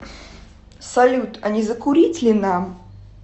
салют а не закурить ли нам